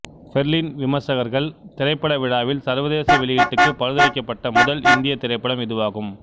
Berlin விமர்சகர்கள் திரைப்பட விழாவில் சர்வதேச வெளியீட்டுக்கு பரிந்துரைக்கப்பட்ட முதல் இந்திய திரைப்படம் இதுவாகும்